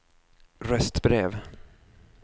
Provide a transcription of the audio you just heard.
röstbrev